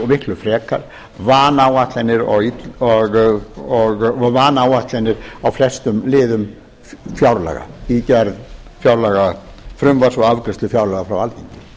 miklu frekar vanáætlanir á flestum liðum fjárlaga í gerð fjárlagafrumvarps og afgreiðslu fjárlaga frá alþingi